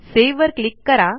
save वर click करा